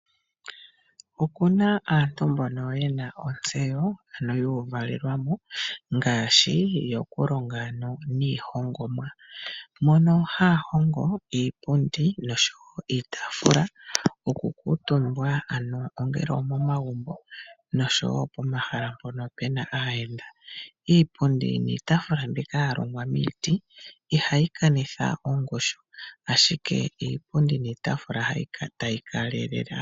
Okuna aantu mbono yena ontseyo ndjono yuuvalelwamo ngaashi yokulonga niihongomwa . Mono haya hongo iipundi noshowoo iitaafula yokukutumbwa ano ongele omomagumbo noshowoo pomahala mpono puna aayenda. Iipundi niitaafula mbika yalongwa miiti ohayi kanitha ongushu ashike ohayi kaalelele.